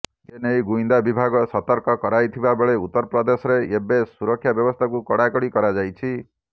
ଏନେଇ ଗୁଇନ୍ଦା ବିଭାଗ ସତର୍କ କରାଇଥିବାବେଳେ ଉତ୍ତରପ୍ରଦେଶରେ ଏବେ ସୁରକ୍ଷା ବ୍ୟବସ୍ଥାକୁ କଡ଼ାକଡ଼ି କରାଯାଇଛି